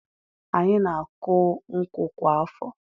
Anyị na-akụ nkwụ kwa afọ.